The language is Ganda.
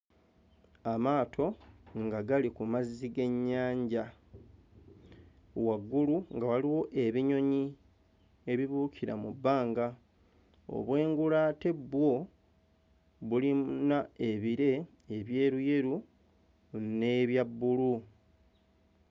Amaato nga gali ku mazzi g'ennyanja, waggulu nga waliwo ebinyonyi ebibuukira mu bbanga. Obwengula ate bwo bulina ebire ebyeruyeru n'ebya bbulu.